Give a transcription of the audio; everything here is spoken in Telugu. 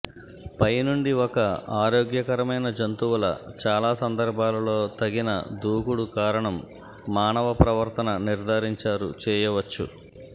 పై నుండి ఒక ఆరోగ్యకరమైన జంతువుల చాలా సందర్భాలలో తగిన దూకుడు కారణం మానవ ప్రవర్తన నిర్ధారించారు చేయవచ్చు